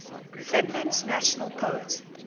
finland's national poet